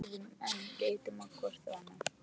Við þögðum enn, litum hvort á annað.